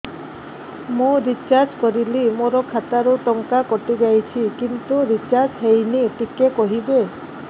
ମୁ ରିଚାର୍ଜ କରିଲି ମୋର ଖାତା ରୁ ଟଙ୍କା କଟି ଯାଇଛି କିନ୍ତୁ ରିଚାର୍ଜ ହେଇନି ଟିକେ କହିବେ